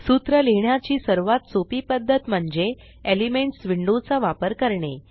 सूत्र लिहिण्याची सर्वात सोपी पद्धत म्हणजे एलिमेंट्स विंडो चा वापर करणे